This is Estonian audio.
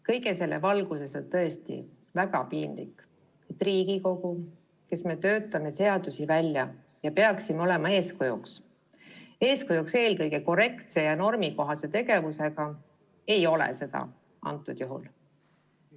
Kõige selle valguses on tõesti väga piinlik, et Riigikogu, kes me töötame seadusi välja ja peaksime olema eeskujuks, eeskujuks eelkõige korrektse ja normikohase tegevusega, ei ole seda antud juhul.